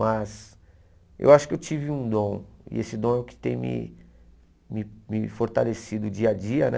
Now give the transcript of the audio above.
Mas eu acho que eu tive um dom e esse dom é o que tem me me me fortalecido dia a dia, né?